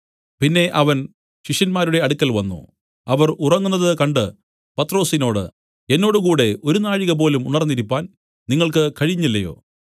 പിന്നെ അവൻ ശിഷ്യന്മാരുടെ അടുക്കൽ വന്നു അവർ ഉറങ്ങുന്നത് കണ്ട് പത്രൊസിനോട് എന്നോട് കൂടെ ഒരു നാഴികപോലും ഉണർന്നിരിപ്പാൻ നിങ്ങൾക്ക് കഴിഞ്ഞില്ലയോ